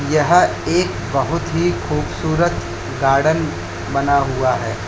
यह एक बहुत ही खूबसूरत गार्डन बना हुआ है।